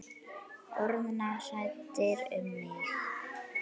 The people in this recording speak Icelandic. Orðnar hræddar um mig.